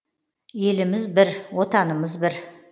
еліміз бір отанымыз бір